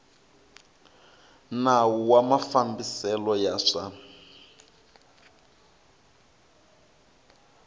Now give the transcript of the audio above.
nawu wa mafambiselo ya swa